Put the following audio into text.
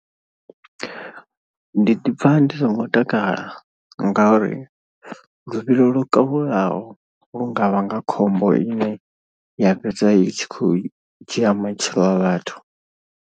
Ndi ḓipfa ndi songo takala ngauri luvhilo lwo kalulaho lu nga vhanga khombo ine ya fhedza i tshi khou dzhia matshilo a vhathu.